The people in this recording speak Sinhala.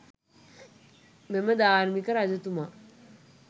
මෙම ධාර්මික රජතුමා